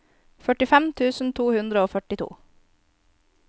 førtifem tusen to hundre og førtito